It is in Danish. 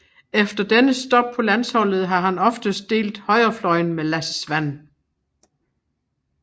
Efter dennes stop på landsholdet har han oftest delt højrefløjen med Lasse Svan